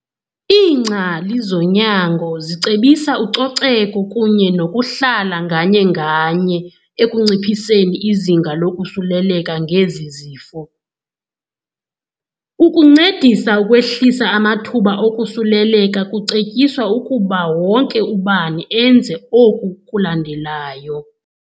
Lingcali zonyango zicebisa ucoceko kunye nokuhlala nganye-nganye ekunciphiseni izinga lokosuleleka ngezi zifo. Ukuncedisa ukwehlisa amathuba okusuleleka kucetyiswa ukuba wonke ubani enze oku kulandelayo.